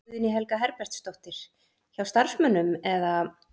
Guðný Helga Herbertsdóttir: Hjá starfsmönnum eða?